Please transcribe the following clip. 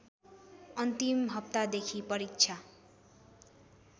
अन्तिम हप्तादेखि परीक्षा